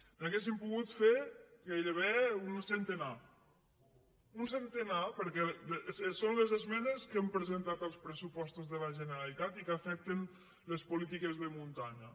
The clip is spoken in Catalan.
n’hauríem pogut fer gairebé un centenar un centenar perquè són les esmenes que hem presentat als pressupostos de la generalitat i que afecten les polítiques de muntanya